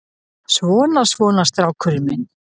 Svona, svona, strákurinn minn.